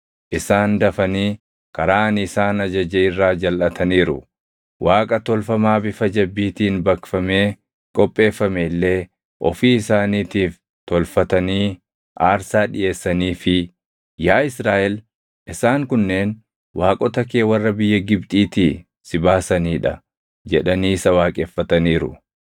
Isaan dafanii karaa ani isaan ajaje irraa jalʼataniiru; Waaqa tolfamaa bifa jabbiitiin baqfamee qopheeffame illee ofii isaaniitiif tolfatanii aarsaa dhiʼeessaniifii, ‘Yaa Israaʼel isaan kunneen waaqota kee warra biyya Gibxiitii si baasanii dha’ jedhanii isa waaqeffataniiru.